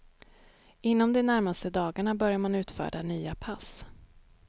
Inom de närmaste dagarna börjar man utfärda nya pass.